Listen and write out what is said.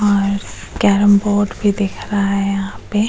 और carrom board भी दिख रहा है यहां पे --